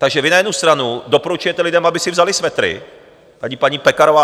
Takže vy na jednu stranu doporučujete lidem, aby si vzali svetry - tady paní Pekarová